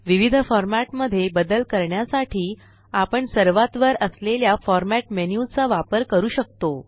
विविध फॉरमॅट मध्ये बदल करण्यासाठी आपण सर्वात वर असलेल्या फॉर्मॅट मेन्यू चा वापर करू शकतो